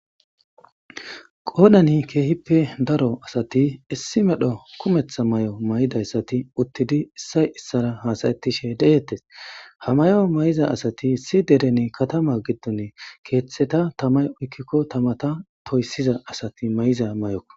Qoodani keehippe daro asati issi medho kumetha mayo mayidi uttidinne isay isaara haasa'ishe de'etees. ha maya mayizaysati issi kataman keethata tamay oykkiza saaten toysiza asati mayiza mayoko.